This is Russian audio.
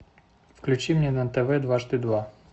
включи мне на тв дважды два